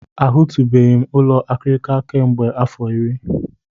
A hụtụbeghị m ụlọ akịrịka kemgbe afọ iri.